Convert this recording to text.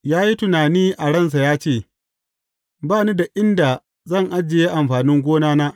Ya yi tunani a ransa ya ce, Ba ni da inda zan ajiye amfanin gonana.